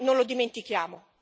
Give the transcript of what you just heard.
Noi non lo dimentichiamo!